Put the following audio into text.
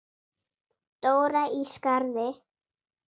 Dóra í Skarði.